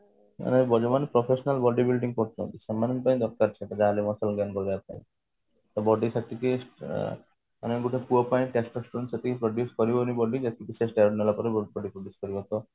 ମାନେ ଯୋଉ ଯୋଉ ମାନେ professional body building କରୁଛନ୍ତି ସେମାନଙ୍କ ପାଇଁ ଦରକାର ସେଟା ପାଇଁ body ସେତିକି ଅ ମାନେ ଗୋଟେ ପୁଅ ପାଇଁ ସେତିକି reduce କରିବନି body ଯେତିକି ସେ steroid ନେଲା ପରେ